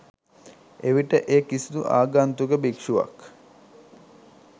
එවිට ඒ කිසිදු ආගන්තුක භික්ෂුවක්